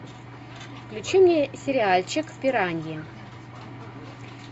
включи мне сериальчик пираньи